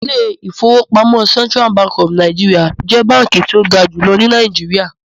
The Central Bank of NIgeria is the highest bank in Nigeria